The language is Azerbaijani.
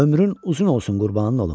Ömrün uzun olsun, qurbanın olum!